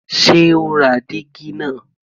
Ṣé ó ra dígí náà?